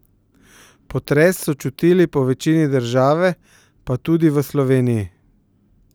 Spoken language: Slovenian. Potres so čutili po večini države, pa tudi v Sloveniji.